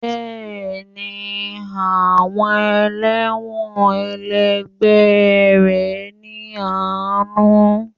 Bẹ́ẹ̀ni, àwọn elẹ́wọ̀n ẹlẹgbẹ́ rẹ ní àánú.